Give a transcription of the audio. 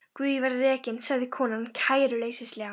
Guð ég verð rekin, sagði konan kæruleysislega.